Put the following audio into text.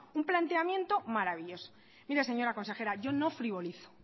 un planteamiento maravilloso mire señora consejera yo no frivolizo